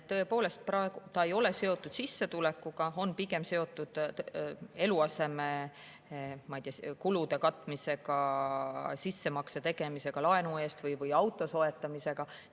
Tõepoolest, praegu ei ole see seotud sissetulekuga, on pigem seotud eluasemekulude katmisega, sissemakse tegemisega laenu jaoks või auto soetamisega.